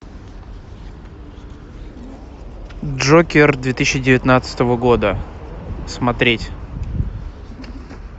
джокер две тысячи девятнадцатого года смотреть